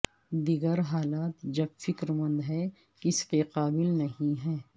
دیگر حالات جب فکر مند ہیں اس کے قابل نہیں ہیں